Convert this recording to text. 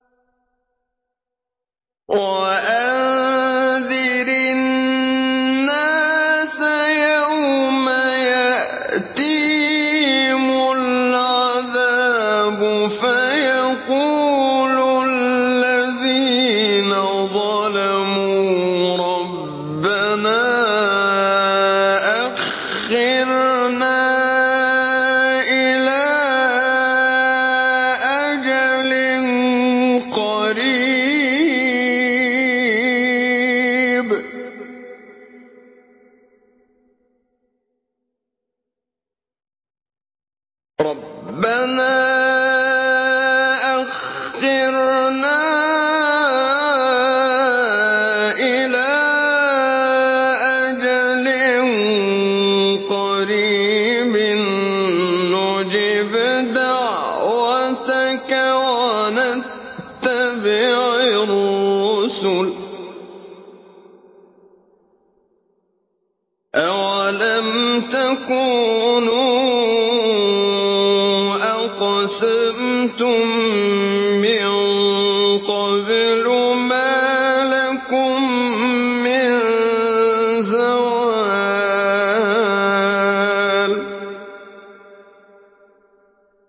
وَأَنذِرِ النَّاسَ يَوْمَ يَأْتِيهِمُ الْعَذَابُ فَيَقُولُ الَّذِينَ ظَلَمُوا رَبَّنَا أَخِّرْنَا إِلَىٰ أَجَلٍ قَرِيبٍ نُّجِبْ دَعْوَتَكَ وَنَتَّبِعِ الرُّسُلَ ۗ أَوَلَمْ تَكُونُوا أَقْسَمْتُم مِّن قَبْلُ مَا لَكُم مِّن زَوَالٍ